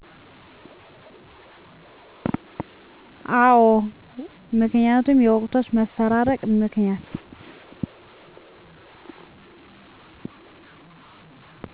አዎ ምክንያቱም በወቅቶች መፈራረቅ ምክንያት